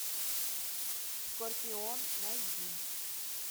скорпион найди